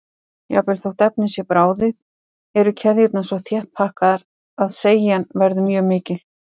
Jafnvel þótt efnið sé bráðið eru keðjurnar svo þétt pakkaðar að seigjan verður mjög mikil.